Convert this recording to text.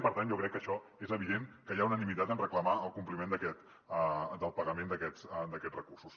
per tant jo crec que això és evident que hi ha unanimitat en reclamar el compliment del pagament d’aquests recursos